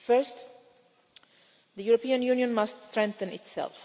First, the European Union must strengthen itself.